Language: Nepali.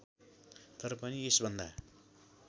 तर पनि यसभन्दा